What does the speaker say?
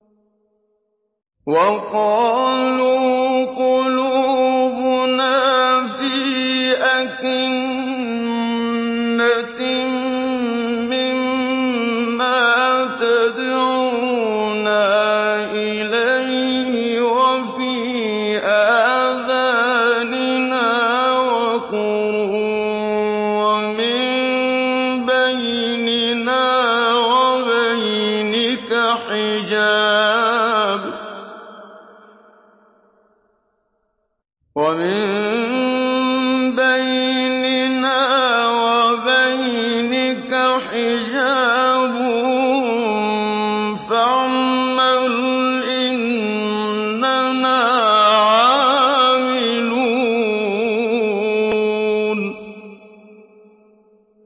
وَقَالُوا قُلُوبُنَا فِي أَكِنَّةٍ مِّمَّا تَدْعُونَا إِلَيْهِ وَفِي آذَانِنَا وَقْرٌ وَمِن بَيْنِنَا وَبَيْنِكَ حِجَابٌ فَاعْمَلْ إِنَّنَا عَامِلُونَ